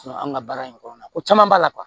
An ka baara in kɔnɔna na ko caman b'a la